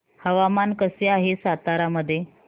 हवामान कसे आहे सातारा मध्ये